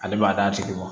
Ale b'a d'a tigi ma